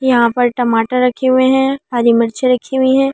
यहां पर टमाटर रखे हुए हैं हरी मिर्चे रखी हुई है।